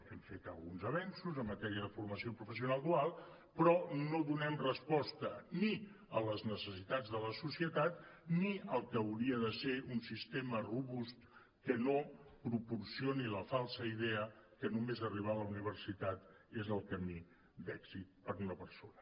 hem fet alguns avenços en matèria de formació professional dual però no donem resposta ni a les necessitats de la societat ni al que hauria de ser un sistema robust que no proporcioni la falsa idea que només arribar a la universitat és el camí d’èxit per a una persona